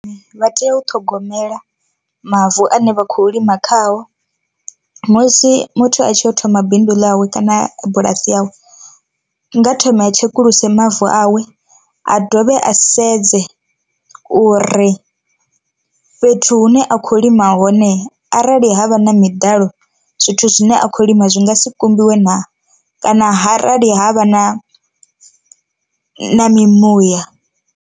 Vha tea u ṱhogomela mavu ane vha khou lima khao, musi muthu a tshi yo thoma bindu ḽawe kana bulasi yawe, nga thome a tshekuluse mavu awe a dovhe a sedze uri fhethu hune a khou lima hone arali havha na miḓalo zwithu zwine a kho lima zwi ngasi kumbiwe naa, kana harali havha na na mi muya.